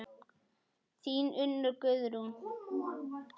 Þín Unnur Guðrún.